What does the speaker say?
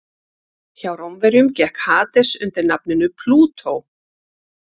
hjá rómverjum gekk hades undir nafninu plútó